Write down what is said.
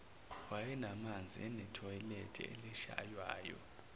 wayenamanzi enethoyilethe elishaywayo